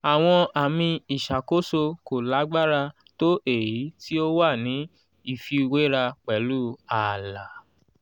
àwọn àmì ìṣàkóso kò lágbára tó èyí tí ó wà ní ìfiwéra pẹ̀lú ààlà.